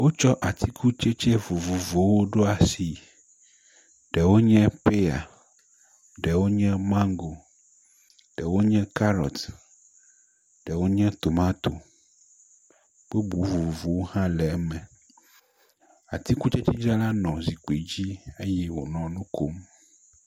Wotsɔ atikutsetse vovovowo ɖo asi, ɖewo nye peya, ɖewo nye mango, ɖewo nye karɔt, ɖewo nye tomato, bubu vovovowo hã nɔ eme. atikutsetsedzrala nɔ zikpui dzi eye wònɔ nu kom.